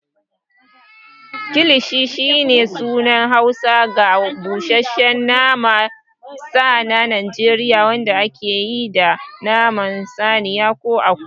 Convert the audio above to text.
Kilishi shine sunan Hausa ga busasshen naman sa na Najeriya wanda ake yi da naman saniya ko akuya.